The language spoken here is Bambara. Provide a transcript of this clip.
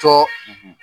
Cɔ